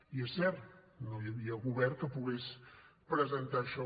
i és cert que no hi havia govern que pogués presentar això